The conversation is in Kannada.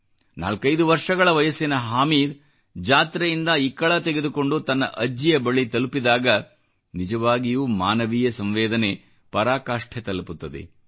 45 ವರ್ಷಗಳ ವಯಸ್ಸಿನ ಹಾಮೀದ್ ಜಾತ್ರೆಯಿಂದ ಇಕ್ಕಳ ತೆಗೆದುಕೊಂಡು ತನ್ನ ಅಜ್ಜಿಯ ಬಳಿ ತಲುಪಿದಾಗ ನಿಜವಾಗಿಯೂ ಮಾನವೀಯ ಸಂವೇದನೆ ಪರಾಕಾಷ್ಟೆ ತಲುಪುತ್ತದೆ